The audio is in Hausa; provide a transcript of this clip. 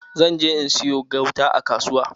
Zan je in sayo gauta a kasuwa.